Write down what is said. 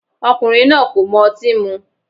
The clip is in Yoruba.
Ọkùnrin náà kò mọ otín mú.